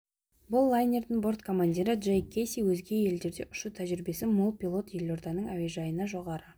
бұл лайнердің борт командирі джек кейси өзге елдерде ұшу тәжірибесі мол пилот елорданың әуежайына жоғары